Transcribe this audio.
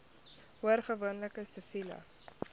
hoor gewoonlik siviele